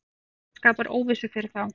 Þetta skapar óvissu fyrir þá.